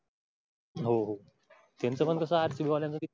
हो हो त्याचं पण तास आहेत कि बोलण्यासाटी.